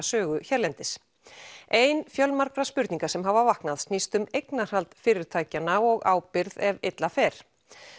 sögu hérlendis ein fjölmargra spurninga sem hafa vaknað snýst um eignarhald fyrirtækjanna og ábyrgð ef illa fer